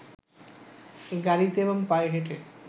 গাড়ীতে এবং পায়ে হেঁটে